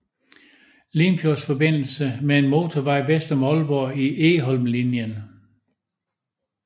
Limfjordsforbindelse med en motorvej vest om Aalborg i Egholmlinjen